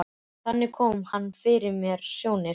Þannig kom hann mér fyrir sjónir.